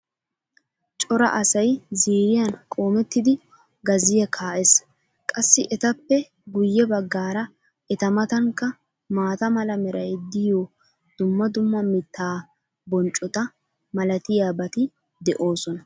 cora asay ziiriyan qoomettidi gazziya kaa'ees. qassi etappe guye bagaara eta matankka maata mala meray diyo dumma dumma mitaa bonccota malatiyaabati de'oosona.